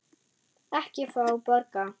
Ekki fá borga.